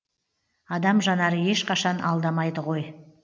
адам жанары ешқашан алдамайды ғой